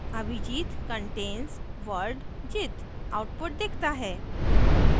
abhijit contains word jit output दिखता है